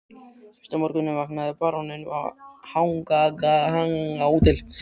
Fyrsta morguninn vaknaði baróninn við hanagal á Hótel